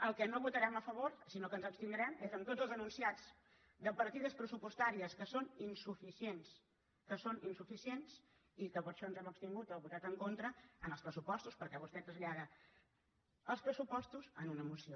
el que no votarem a favor sinó que ens abstindrem és en tots els enunciats de partides pressupostàries que són insuficients que són insuficients i que per això ens hem abstingut o votat en contra en els pressupostos perquè vostè trasllada els pressupostos en una moció